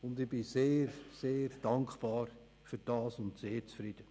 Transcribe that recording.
Dafür bin ich sehr dankbar und bin sehr zufrieden.